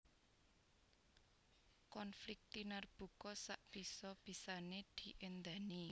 Konflik tinarbuka sak bisa bisané diendhani